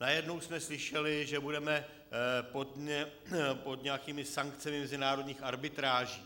Najednou jsme slyšeli, že budeme pod nějakými sankcemi mezinárodních arbitráží.